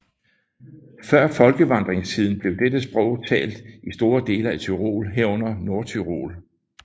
Før folkevandringstiden blev dette sprog talt i store dele af Tyrol herunder Nordtyrol